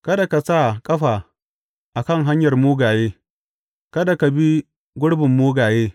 Kada ka sa ƙafa a kan hanyar mugaye kada ka bi gurbin mugaye.